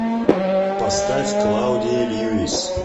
поставь клаудия льюис